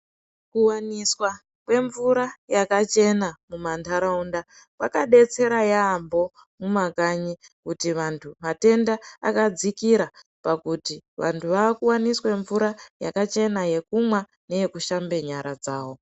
Kuwaniswa kwemvura yakachena mumantaraunda kwakadetsera yaambho mumakanyi, kuti vanthu matenda akadzikira pakuti vanthu vakuwaniswe mvura yakachena yekumwa neyekushambe nyara dzawo.